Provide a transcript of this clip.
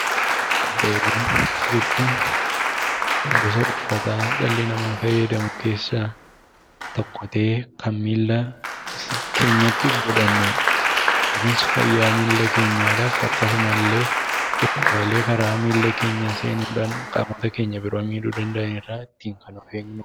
Kopheewwan jechuun; gosa uffaataa dhalli nam faayyadamuu keessa tokko ta'ee Kan milla keenyaatti godhanuudha. Kunis fayyaa Milla keenyaadhaf akkasumallee dhukkubaalee karaa milla keenyaa seenudhaan qaamoota keenyà biroo miidhuu danda'an irraa ittin Kan of eegnu jechuudha